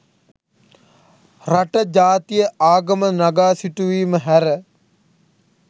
රට ජාතිය ආගම නගා සිටුවීම හැර